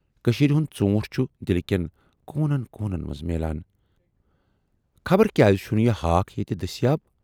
کٔشیٖرِ ہُند ژوٗنٹھ چھُ دِلہٕ کٮ۪ن کوٗنن کوٗنن منز میلان، خبر کیازِ چھُنہٕ یہِ ہاکھ ییتہِ دٔسۍیاب۔